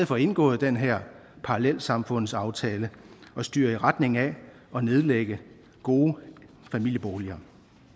for indgået den her parallelsamfundsaftale og styrer i retning af at nedlægge gode familieboliger